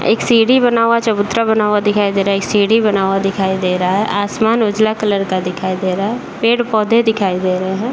एक सीढ़ी बना हुआ चबूतरा बना हुआ दिखाई दे रहा है। एक सीढ़ी बना हुआ दिखाई दे रहा है। आसमान उजला कलर का दिखाई दे रहा है। पेड़ पौधे दिखाई दे रहे हैं।